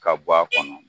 Ka bɔ a kɔnɔ